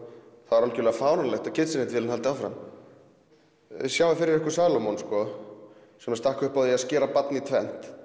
er algjörlega fáránlegt að Kitchenaid vélin haldi áfram sjáið fyrir ykkur Salómon sem stakk upp á að skera barni í tvennt